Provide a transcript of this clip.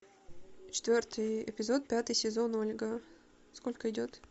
четвертый эпизод пятый сезон ольга сколько идет